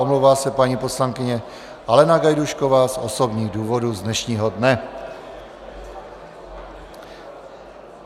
Omlouvá se paní poslankyně Alena Gajdůšková z osobních důvodů z dnešního dne.